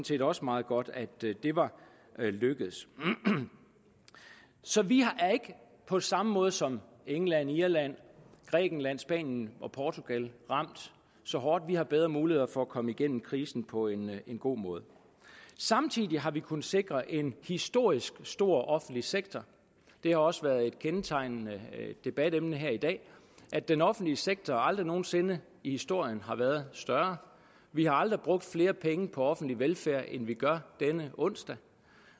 set også meget godt at det var lykkedes så vi er ikke på samme måde som england irland grækenland spanien og portugal ramt så hårdt vi har bedre muligheder for at komme igennem krisen på en god måde samtidig har vi kunnet sikre en historisk stor offentlig sektor det er også været et kendetegnende debatemne her i dag at den offentlige sektor aldrig nogen sinde i historien har været større vi har aldrig brugt flere penge på offentlig velfærd end vi gør denne onsdag